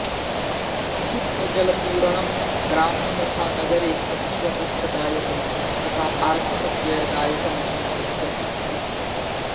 शुद्धजलपूरणं ग्रामे तथा नगरे अतीव कष्टदायकं तथा आर्थिकव्ययदायकं सम्वृत्तम् अस्ति